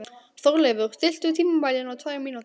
Þórleif, stilltu tímamælinn á tvær mínútur.